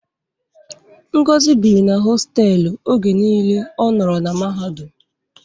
Ngozi biri na hostelu oge niile ọ nọrọ na mahadum.